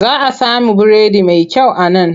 Za a samu biredi mai kyau a nan.